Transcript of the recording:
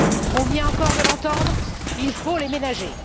On vient encore de l'entendre, il faut les ménager.